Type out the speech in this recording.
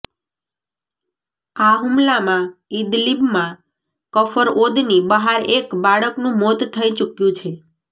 આ હુમલામાં ઈદલીબમાં કફર ઓદની બહાર એક બાળકનું મોત થઇ ચૂક્યું છે